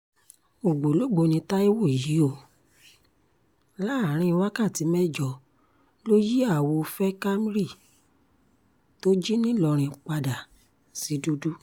ògbólógbòó ní taiwo yìí o láàrin wákàtí mẹ́jọ ló yí àwo veh camry tó jí nìlọrin padà sí dúdú